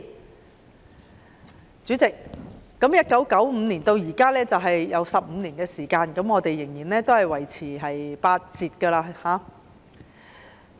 代理主席 ，1995 年至今已過了25年，放取產假的僱員仍然維持八折支薪。